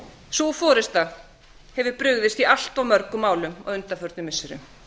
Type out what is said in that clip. sú forusta hefur brugðist í allt of mörgum málum á undanförnum missirum